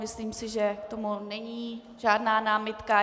Myslím si, že k tomu není žádná námitka.